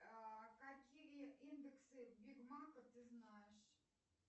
какие индексы биг мака ты знаешь